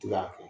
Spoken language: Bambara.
Tika